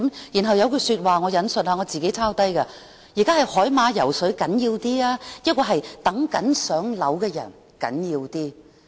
然後有一句說話，我抄低了，："現在是海馬暢泳重要，還是輪候公屋的人較為重要？